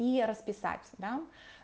и расписаться да